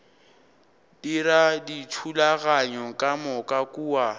dira dithulaganyo ka moka kua